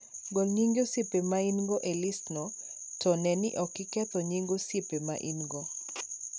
Gol nyinge osiepe ma in - go e listno, to ne ni ok oketho nyinge osiepe ma in - go